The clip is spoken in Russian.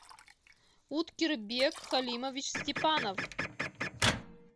уткербек халимович степанов